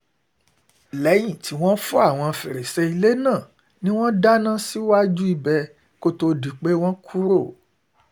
lẹ́yìn tí wọ́n fọ́ àwọn fèrèsé ilé náà ni wọ́n dáná síwájú ibẹ̀ kó tóó di pé wọ́n kúrò